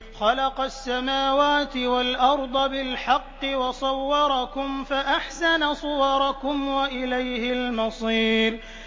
خَلَقَ السَّمَاوَاتِ وَالْأَرْضَ بِالْحَقِّ وَصَوَّرَكُمْ فَأَحْسَنَ صُوَرَكُمْ ۖ وَإِلَيْهِ الْمَصِيرُ